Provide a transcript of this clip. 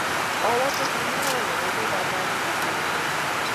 ọwọ tó fi mú ọrọ yẹn lọ dabarú gbogbo nǹkan